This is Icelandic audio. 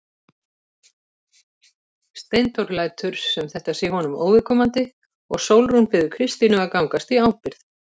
Steindór lætur sem þetta sé honum óviðkomandi og Sólrún biður Kristínu að gangast í ábyrgð.